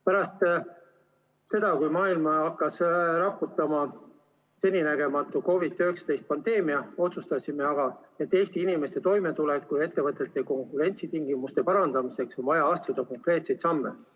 Pärast seda, kui maailma hakkas raputama seninägematu COVID‑19 pandeemia, otsustasime, et Eesti inimeste toimetuleku ja ettevõtete konkurentsitingimuste parandamiseks on vaja astuda konkreetseid samme.